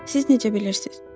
Siz necə bilirsiz?